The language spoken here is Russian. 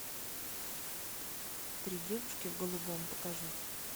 три девушки в голубом покажи